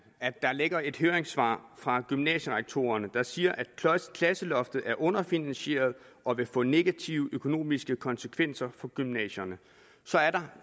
at der ligger et høringssvar fra gymnasierektorerne der siger at klasseloftet er underfinansieret og vil få negative økonomiske konsekvenser for gymnasierne så er der